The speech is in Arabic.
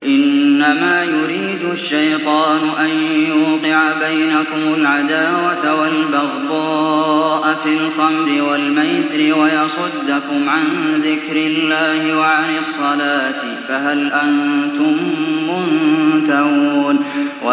إِنَّمَا يُرِيدُ الشَّيْطَانُ أَن يُوقِعَ بَيْنَكُمُ الْعَدَاوَةَ وَالْبَغْضَاءَ فِي الْخَمْرِ وَالْمَيْسِرِ وَيَصُدَّكُمْ عَن ذِكْرِ اللَّهِ وَعَنِ الصَّلَاةِ ۖ فَهَلْ أَنتُم مُّنتَهُونَ